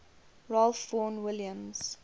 ralph vaughan williams